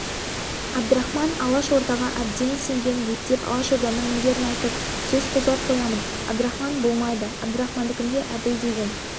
әбдірахман алашордаға әбден сенген ептеп алашорданың міндерін айтып сөз қозғап қоямын әбдірахман болмайды әбдірахмандікіне әбіл деген